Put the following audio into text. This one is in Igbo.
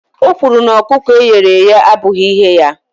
O kwuru na ọkụkọ e ghere eghe abụghị ihe ya